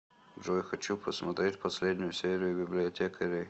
джой хочу посмотреть последнюю серию библиотекарей